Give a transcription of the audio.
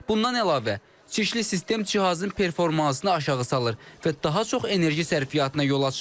Bundan əlavə, çirkli sistem cihazın performansını aşağı salır və daha çox enerji sərfiyyatına yol açır.